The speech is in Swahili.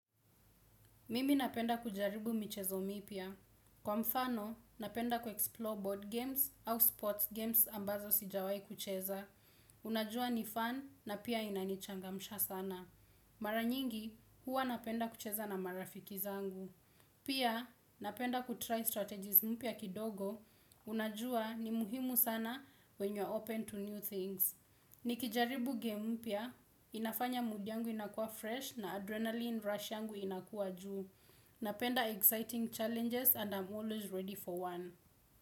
Mimi napenda kujaribu michezo mipya. Kwa mfano, napenda kuexplore board games au sports games ambazo sijawahi kucheza. Unajua ni fun na pia inanichangamsha sana. Mara nyingi, huwa napenda kucheza na marafiki zangu. Pia, napenda kutry strategies mpia kidogo. Unajua ni muhimu sana when you are open to new things. Nikijaribu game mpya, inafanya mood yangu inakua fresh na adrenalin rush yangu inakua juu. Napenda exciting challenges and I'm always ready for one.